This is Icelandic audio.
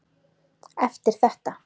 Eftir þetta.